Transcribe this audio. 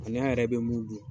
A n'a yɛrɛ bɛ mun dun